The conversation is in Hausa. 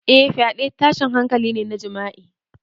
Eh, fyaɗe tashin hankali ne na jima'i.